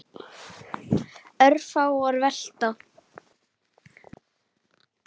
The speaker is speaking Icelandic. Örfáar velta.